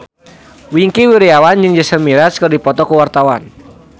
Wingky Wiryawan jeung Jason Mraz keur dipoto ku wartawan